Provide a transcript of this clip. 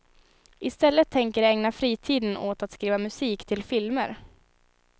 I stället tänker de ägna fritiden åt att skriva musik till filmer.